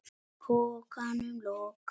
Pokanum lokað.